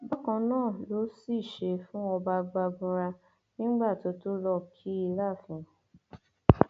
bákan náà ló sì ṣe fún ọba gbagunra nígbà tó tó lọọ kí i láàfin